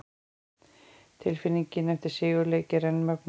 Tilfinningin eftir sigurleiki er enn mögnuð!